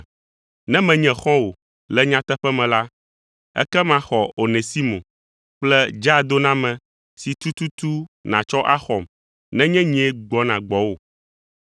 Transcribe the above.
Ne menye xɔ̃wò le nyateƒe me la, ekema xɔ Onesimo kple dzaadoname si tututu natsɔ axɔm nenye nyee gbɔna gbɔwò.